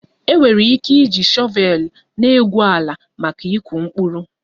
Enwere ike iji shọvel na-egwu ala maka ịkụ mkpụrụ